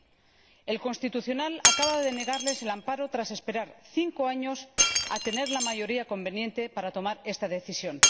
El Tribunal Constitucional acaba de denegarles el amparo tras esperar cinco años a tener la mayoría conveniente para tomar esta decisión.